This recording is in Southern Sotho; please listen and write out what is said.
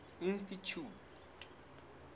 institjhute